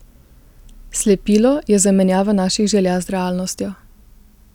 Slepilo je zamenjava naših želja z realnostjo.